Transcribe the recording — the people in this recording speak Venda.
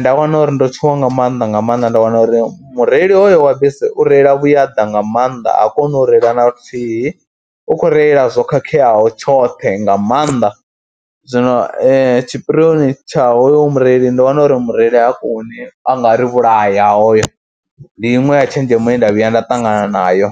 nda wana uri ndo tshuwa nga mannḓa nga maanḓa, nda wana uri mureili hoyo wa bisi u reila vhuyaḓa nga maanḓa. Ha koni u reila na luthihi, u khou reila zwo khakheaho tshoṱhe nga maanḓa, zwino tshipirioni tsha hoyu mureili ndo wana uri mureili ha koni, a nga ri vhulaya hoyo. Ndi iṅwe ya tshenzhemo ye nda vhuya nda ṱangana nayo.